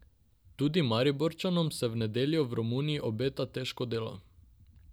Tudi Mariborčanom se v nedeljo v Romuniji obeta težko delo.